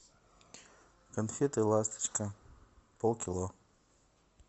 конфеты ласточка полкило